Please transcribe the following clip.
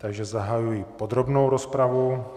Takže zahajuji podrobnou rozpravu.